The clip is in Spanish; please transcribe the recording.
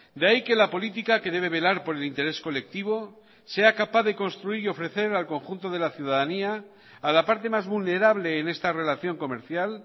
de ahí que la política que debe velar por el interés colectivo sea capaz de construir y ofrecer al conjunto de la ciudadanía a la parte más vulnerable en esta relación comercial